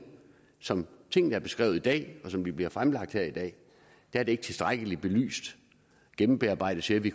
som tingene er beskrevet i dag og som de bliver fremlagt her i dag er det ikke tilstrækkeligt belyst og gennembearbejdet til at vi